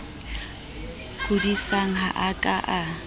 kodisang ha a ka a